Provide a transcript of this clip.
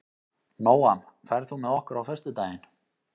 Nóam, ferð þú með okkur á föstudaginn?